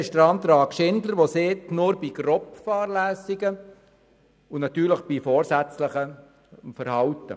Der Antrag Schindler sagt, nur bei grober Fahrlässigkeit und natürlich bei vorsätzlichem Verhalten.